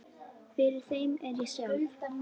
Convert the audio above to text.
Fyrir þeim er ég sjálf